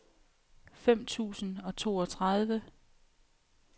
fem tusind og toogtredive